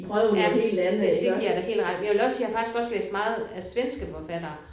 Ja det det giver jeg dig helt ret i. Men jeg vil også sige jeg har faktisk også læst meget af svenske forfattere